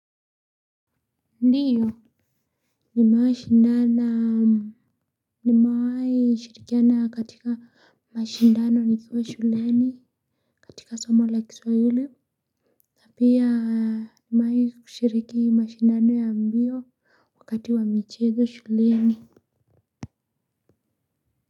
Ndiyo ni mewahi shindana nimewahi shirikiana katika mashindano nikiwa shuleni katika somo la kiswahili. Pia nimewahi kushiriki mashindano ya mbio wakati wa michezo shuleni.